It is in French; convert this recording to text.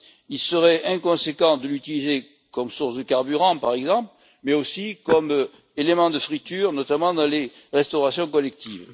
Il serait inconséquent de l'utiliser comme source de carburant, par exemple, mais aussi comme élément de friture, notamment dans les restaurations collectives.